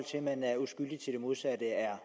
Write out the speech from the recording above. at man er uskyldig til det modsatte er